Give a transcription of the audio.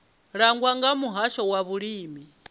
langwa nga muhasho wa vhulimi